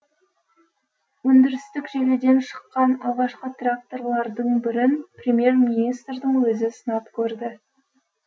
өндірістік желіден шыққан алғашқы тракторлардың бірін премьер министрдің өзі сынап көрді